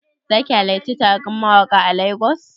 Zaki halarci taron mawaƙa a Lagos?